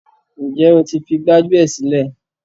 Ǹjẹ́ o ti fi gbájúẹ̀ sílẹ̀?